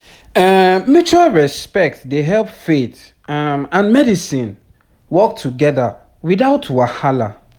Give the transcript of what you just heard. um mutual respect dey help faith um and medicine work together without wahala